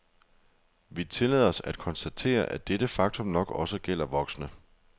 Vi tillader os at konstatere, at dette faktum nok også gælder voksne.